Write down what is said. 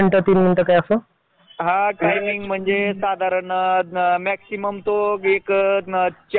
अशे वेगवेगळे ठिकाण असतात तिथे आपल्याला नोकरी करावी लागती